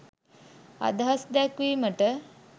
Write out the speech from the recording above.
අදහස් දැක්වීමට